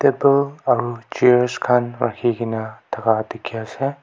etu aru chairs khan rakhi ke na thaka dikhi ase.